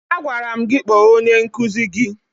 Agwara m gị kpọọ onye nkụzi gị!